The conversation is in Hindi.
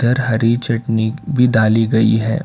हरी चटनी भी डाली गई है।